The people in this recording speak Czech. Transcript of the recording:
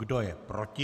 Kdo je proti?